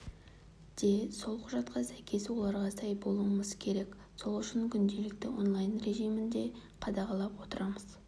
де сол құжатқа сәйкес оларға сай болуымыз керек сол үшін күнделікті онлайн режимінде қадағалап отырамыз